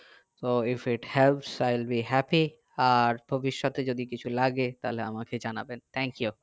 তো if it have silently happy আর ভবিৎষত এ কিছু লাগে তাহলে আমাকে জানাবেন thankyou